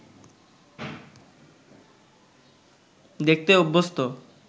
দেখতে অভ্যস্ত